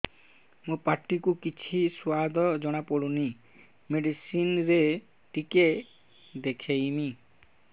ମୋ ପାଟି କୁ କିଛି ସୁଆଦ ଜଣାପଡ଼ୁନି ମେଡିସିନ ରେ ଟିକେ ଦେଖେଇମି